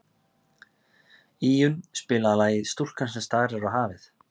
Íunn, spilaðu lagið „Stúlkan sem starir á hafið“.